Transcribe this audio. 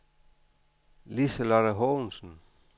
Liselotte Haagensen